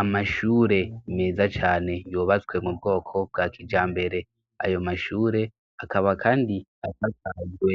Amashure meza cane yubatswe mu bwoko bwa kijambere, ayo mashure akaba kandi asakajwe